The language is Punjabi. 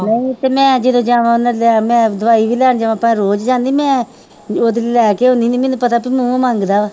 ਨਹੀਂ ਤੇ ਮੈਂ ਜਦੋਂ ਜਾਣਾ ਮੈਂ ਲੈ ਮੈਂ ਦਵਾਈ ਵੀ ਲੈਣ ਜਾਣਾ ਤਾਂ ਰੋਜ਼ ਜਾਂਦੀ ਮੈਂ ਉਹਦੇ ਲਈ ਲੈ ਕੇ ਆਉਂਦੀ ਹੁਨੀ ਮੈਨੂੰ ਪਤਾ ਮੰਗਦਾ